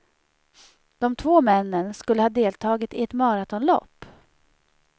De två männen skulle ha deltagit i ett maratonlopp.